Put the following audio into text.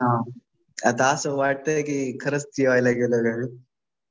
हा. आता असं वाटतंय कि खरंच टी वाय ला गेलेलो.